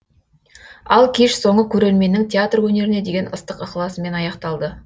ал кеш соңы көрерменнің театр өнеріне деген ыстық ықыласымен аяқталды